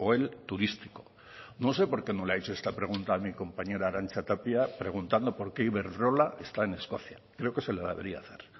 el turístico no sé por qué no le ha hecho esta pregunta a mi compañera arantxa tapia preguntando por qué iberdrola está en escocia creo que se la debería hacer